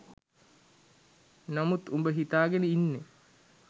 නමුත් උඹ හිතාගෙන ඉන්නේ